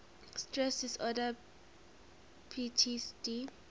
stress disorder ptsd